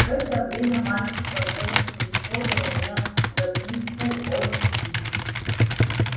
в это время мальчик вошёл и подал мне записку от и